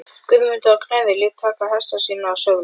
Guðmundur á Knerri lét taka hesta sína og söðla.